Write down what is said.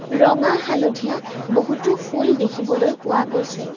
ৰঙা হালধীয়া বহুতো ফুল দেখিবলৈ পোৱা গৈছে।